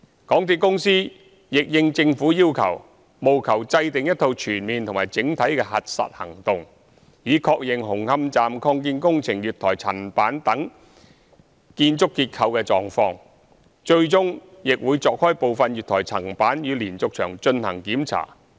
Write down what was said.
港鐵公司亦應政府要求，務求制訂一套全面及整體的核實行動，以確認紅磡站擴建工程月台層板等建築結構的狀況，最終亦會鑿開部分月台層板與連續牆進行檢查。